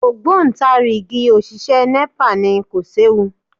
Ògbóǹtarìgì òṣìṣẹ́ Nepa ni, kò séwu